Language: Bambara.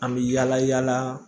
An bɛ yala yala